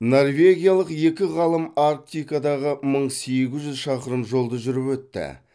норвегиялық екі ғалым арктикадағы мың сегіз жүз шақырым жолды жүріп өтті